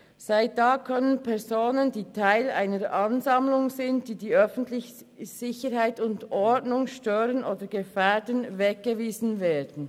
Seit damals können Personen, die Teil einer Ansammlung sind, die die öffentliche Sicherheit und Ordnung stört oder gefährdet, weggewiesen werden.